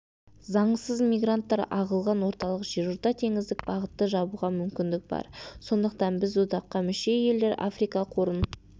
заңсыз мигранттар ағылған орталық жерорта теңіздік бағытты жабуға мүмкіндік бар сондықтан біз одаққа мүше елдер африка қорын